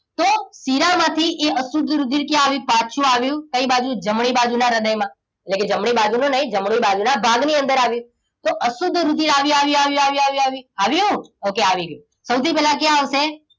તો શિરામાંથી એ અશુદ્ધ રુધિર ક્યાં આવ્યું પાછું આવ્યું કઈ બાજુ જમણી બાજુના હૃદયમાં એટલે કે જમણી બાજુનું નહીં જમણી બાજુના ભાગની અંદર આવ્યું તો અશુદ્ધ રુધિર આવ્યું આવ્યું આવ્યું આવ્યું okay આવી ગયું. સૌથી પહેલા ક્યાં આવશે